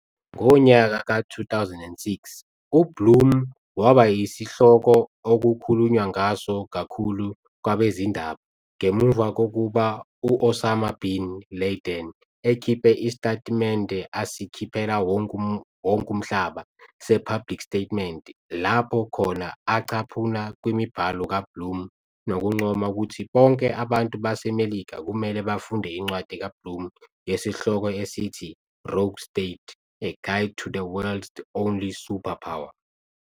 Ngonyaka ka-2006, uBlum waba yisihloko okukhulunywa ngaso kakhulu kwabezindaba, ngemuva kokuba u-Osama bin Laden ekhiphe isitatimende asikhiphela wonke umhlaba se-public statement lapho khona acaphuna kwimibhalo ka-Blum nokuncoma ukuthi bonke abantu baseMelika kumele bafunde incwadi kaBlum yesihloko esithi, "Rogue State - A Guide to the World's Only Superpower".